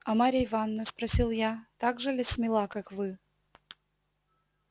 а марья ивановна спросил я так же ли смела как вы